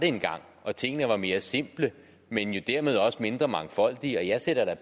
engang og at tingene var mere simple men jo dermed også mindre mangfoldige jeg sætter da